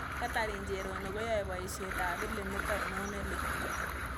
Catherine cherono koyae boiisietap pilimit ainon nelel